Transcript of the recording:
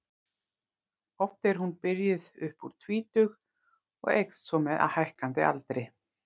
Oft er hún byrjuð upp úr tvítugu og eykst svo með hækkandi aldri.